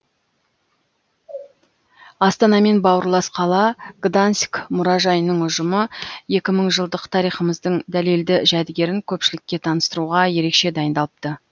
астанамен бауырлас қала гданьск мұражайының ұжымы екі мың жылдық тарихымыздың дәлелді жәдігерін көпшілікке таныстыруға ерекше дайындалыпты